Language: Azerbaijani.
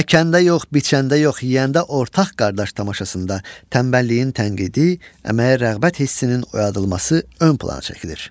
Əkəndə yox, biçəndə yox, yeyəndə ortaq qardaş tamaşasında tənbəlliyin tənqidi, əməyə rəğbət hissinin oyadılması ön plana çəkilir.